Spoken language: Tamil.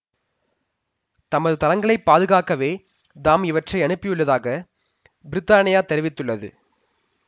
தமது தளங்களை பாதுகாக்கவே தாம் இவற்றை அனுப்பியுள்ளதாக பிரித்தானியா தெரிவித்துள்ளது